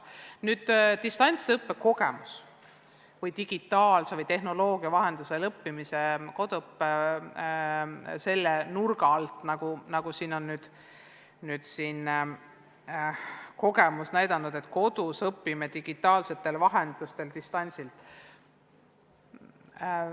Nüüd, distantsõppe kogemusest või digitaalse või tehnoloogia vahendusel õppimise kogemusest – koduõpe selle nurga alt, nagu kogemus nüüdseks on näidanud, on kodus õppimine digitaalsete vahendite abil, distantsilt.